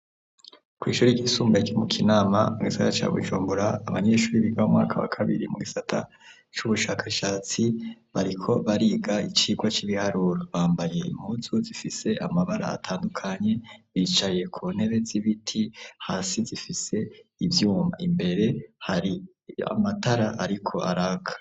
Kw'ishuri ryisumbuye kimukinama mu gisata cawo ijumbura abanyenshuri biga mwaka wa kabiri mu gisata c'ubushakashatsi bariko bariga icirwa c'ibiharura bambaye imutu zifise amabara atandukanye bicaye ku ntebe z'ibiti hasi zifise ivyuma imbere hari yamae tara, ariko araka.